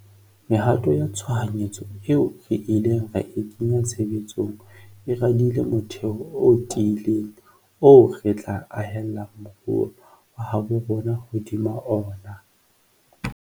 Mehato ya tshohanyetso eo re ileng ra e kenya tshebe tsong e radile motheo o ti ileng oo re tla ahella moruo wa habo rona hodima ona.